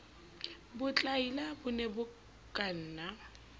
botlaila bo ne bo kanna